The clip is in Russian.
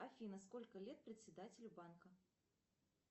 афина сколько лет председателю банка